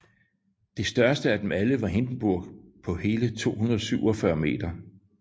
Det største af dem alle var Hindenburg på hele 247 m